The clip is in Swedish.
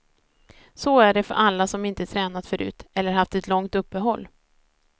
Så är det för alla som inte tränat förut, eller haft ett långt uppehåll.